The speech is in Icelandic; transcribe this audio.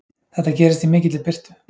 Þetta gerist í mikilli birtu.